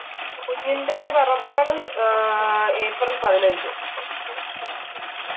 കുഞ്ഞിന്റെ പിറന്നാൾ ഏർ ഏപ്രിൽ പതിനഞ്ച്‌